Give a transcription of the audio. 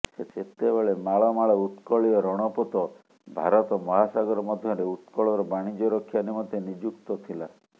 ସେତେବେଳେ ମାଳମାଳ ଉତ୍କଳୀୟ ରଣପୋତ ଭାରତ ମହାସାଗର ମଧ୍ୟରେ ଉତ୍କଳର ବାଣିଜ୍ୟ ରକ୍ଷା ନିମନ୍ତେ ନିଯୁକ୍ତ ଥିଲା